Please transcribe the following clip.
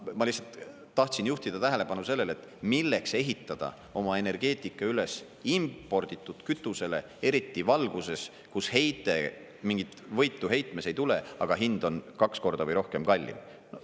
Ma lihtsalt tahtsin juhtida tähelepanu sellele, et milleks ehitada oma energeetika üles imporditud kütusele, eriti selle valguses, kus mingit võitu heitmes ei tule, aga hind on kaks korda või rohkem kallim.